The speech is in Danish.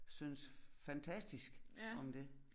Synes fantastisk om det